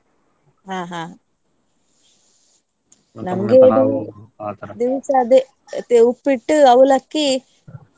ಹಾ ಹಾ. ದಿವ್ಸ ಅದೇ Uppittu, Avalakki .